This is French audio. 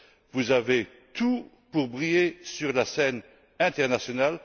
Vous avez tout pour briller sur la scène internationale.